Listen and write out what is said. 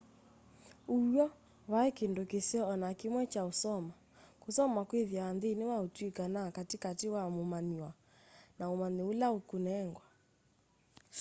ũw'o vaiĩ kĩndũ kĩseo o na kĩmwe kya kusoma kũsoma kwĩthĩawa nthini wa ũtuika na katĩ katĩ wa mũmanyiw'a na umanyi ula ũkunengwa